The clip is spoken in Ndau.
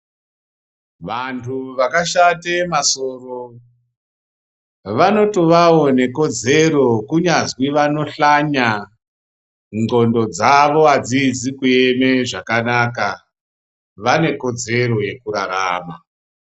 Vantu vakashate masoro vanotovawo nekodzero kunyazwi vanohlanya, ndxondo dzavo hadzizi kueme zvakanaka, vanekodzero yekurarama.